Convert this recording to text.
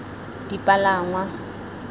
dipalangwa